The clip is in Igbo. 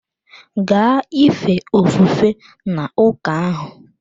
Gaa ife ofufe n'ụka ahụ!